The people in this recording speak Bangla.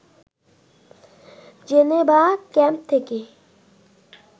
জেনেভা ক্যাম্প থেকে